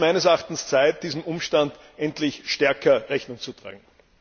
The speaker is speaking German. Es ist meines Erachtens Zeit, diesem Umstand endlich stärker Rechnung zu tragen!